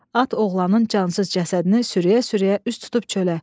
At oğlanın cansız cəsədini sürüyə-sürüyə üst tutub çölə.